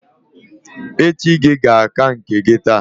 Echi gi ga-aka nke gi taa